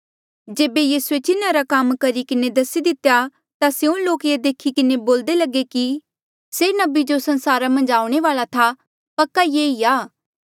जेबे यीसूए चिन्हा रा काम करी किन्हें दसी दितेया ता स्यों लोक ये देखी किन्हें बोल्दे लगे कि से नबी जो संसारा मन्झ आऊणें वाल्आ था पक्का ये ई आ